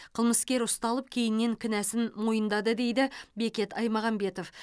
қылмыскер ұсталып кейіннен кінәсін мойындады дейді бекет аймағамбетов